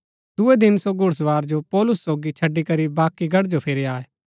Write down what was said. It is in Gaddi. दूये दिन सो घुड़सवार जो पौलुस सोगी छड़ी करी बाकी गढ़ जो फिरी आये